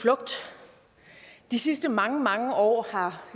flugt de sidste mange mange år har